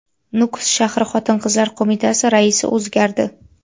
Nukus shahri Xotin-qizlar qo‘mitasi raisi o‘zgardi.